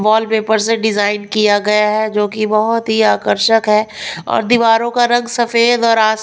wallpaper से design किया गया है जो कि बहुत ही आकर्षक है और दीवारों का रंग सफेद और--